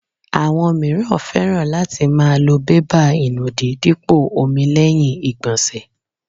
Àwọn mìíràn fẹ́ràn láti máa lo bébà ìnùdíí dípò omi lẹ́yìn ìgbọ̀nsẹ̀